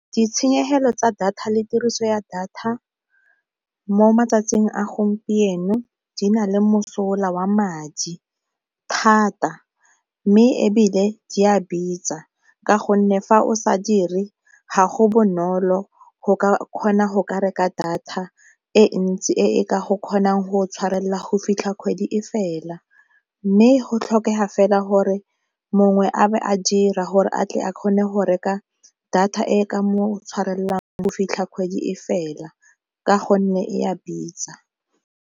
Ditshenyegelo tsa data le tiriso ya data mo matsatsing a gompieno di na le mosola wa madi thata mme ebile di a bitsa ka gonne fa o sa dire ga go bonolo go kgona go ka reka data e ntsi e e ka go kgonang go tshwarelela go fitlha kgwedi e fela. Mme go tlhokega fela gore mongwe a be a dira gore a tle a kgone go reka data e e ka mo tshwarelang go fitlha kgwedi e fela ka gonne e a bitsa.